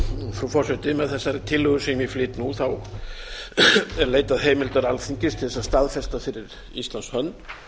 frú forseti með þessari tillögu sem ég flyt nú er leitað heimildar alþingis til þess að staðfesta fyrir íslands hönd